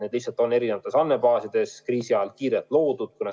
Need lihtsalt on eri andmebaasides, mis on kriisi ajal loodud.